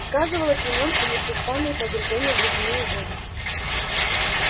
сказывались на нем и непрестанные погружения в ледяную воду